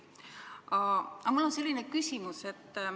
Aga mul on selline küsimus.